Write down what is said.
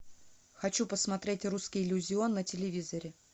хочу посмотреть русский иллюзион на телевизоре